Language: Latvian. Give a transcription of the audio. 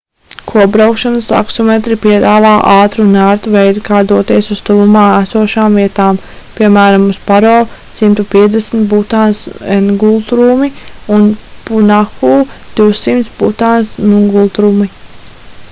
kopbraukšanas taksometri piedāvā ātru un ērtu veidu kā doties uz tuvumā esošām vietām piemēram uz paro 150 butānas ngultrumi un punakhu 200 butānas ngultrumi